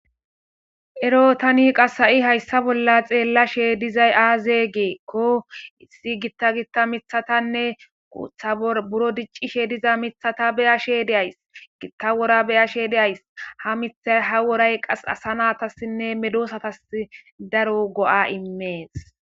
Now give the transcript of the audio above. ero tani qase hayssa bolla xeellashe dizay aaze geekko issi gitta gitta mithatanne kuutha buro diccishe diza mithata beyashe deays gitta wora beyashe deays ha mitha ha woray qas asa naatassinne medosatas daro go7a immees